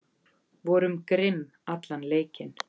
Vorum grimm allan leikinn